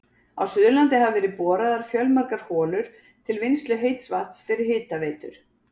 Á Suðurlandi hafa verið boraðar fjölmargar holur til vinnslu heits vatns fyrir hitaveitur.